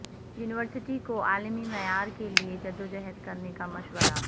university کو عالمی معیار کے لئے جدوجہد کرنے کا مشورہ